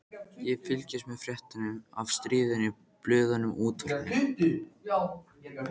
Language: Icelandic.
Ég fylgdist með fréttum af stríðinu í blöðunum og útvarpinu.